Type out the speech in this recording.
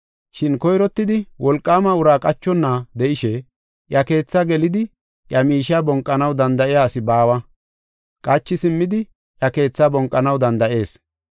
“Shin koyrottidi wolqaama uraa qachonna de7ishe iya keetha gelidi, iya miishiya bonqanaw danda7iya asi baawa. Qachi simmidi iya keetha bonqanaw danda7ees.